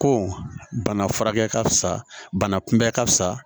Ko bana furakɛ ka fusa bana kunbɛ ka fisa